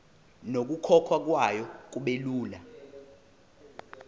nokukhokhwa kwayo kubelula